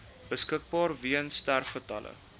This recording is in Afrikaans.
beskikbaar weens sterfgevalle